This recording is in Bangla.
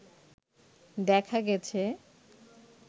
দেখা গেছে